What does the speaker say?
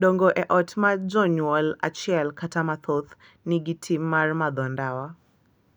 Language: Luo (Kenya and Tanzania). Dongo e ot ma jonyuol achiel kata mathoth nigi tim mar madho ndawa .